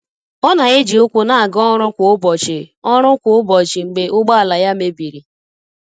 Ọ na e ji ukwu na aga ọrụ kwa ụbọchị ọrụ kwa ụbọchị mgbe ụgbọ ala ya mebiri.